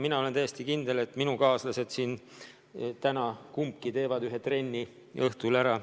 Ma olen täiesti kindel, et mõlemad minu tänased kaaslased siin laua taga teevad ühe trenni õhtul ära.